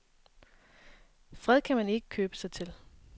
Fred kan man ikke købe sig til.